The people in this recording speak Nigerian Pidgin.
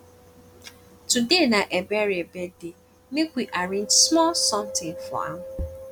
today na ebere birthday make we arrange small something for am